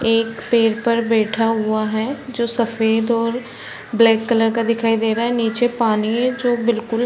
एक पेड़ पर बैठा हुआ है जो सफेद और ब्लैक का दिखाई दे रहा है नीचे पानी है जो बिल्कुल --